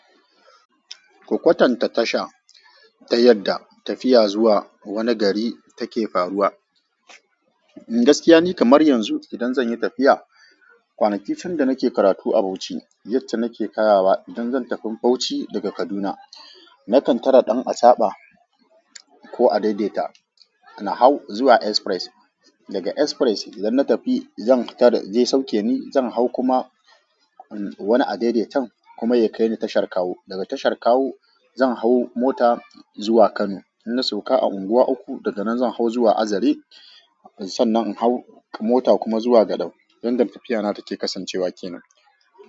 Ku ƙwatanta tasha ta yadda tafiya zuwa wani gari take faruwa. Gaskiya ni kamar yanzu idan zanyi tafiya, ƙwanaki can da nake karatu a Bauchi, yadda nake kayawa idan zan tafi Bauchi daga Kaduna. Nakan tare ɗan achaba ko adaidaita, na hau zuwa Express. Daga Express idan na tafi zan tare, zai sauke ni zan hau kuma wani adaidaitan kuma ya kaini tashar Kawo. Daga tashar Kawo zan hau mota zuwa Kano. In na sauka a Unguwa uku daga nan zan hau zuwa Azare. Sannan in hau mota kuma zuwa Gadam. Yanda tafiya na take kasancewa kenan.